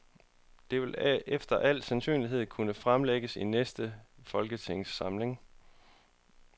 Det vil efter al sandsynlighed kunne fremlægges i næste folketingssamling.